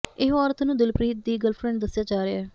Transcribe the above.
ਇਹ ਔਰਤ ਨੂੰ ਦਿਲਪ੍ਰੀਤ ਦੀ ਗਰਲਫਰੈਂਡ ਦੱਸਿਆ ਜਾ ਰਿਹਾ ਹੈ